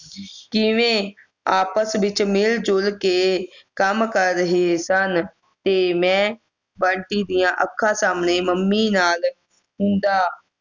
ਕਿਵੇਂ ਆਪਸ ਵਿੱਚ ਮਿਲ ਜੁਲ ਕੇ ਕੰਮ ਕਰ ਰਹੇ ਸਨ ਤੇ ਮੈਂ ਬੰਟੀ ਦੀ ਅੱਖਾਂ ਸਾਹਮਣੇ ਮੰਮੀ ਨਾਲ ਹੁੰਦਾ